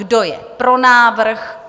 Kdo je pro návrh?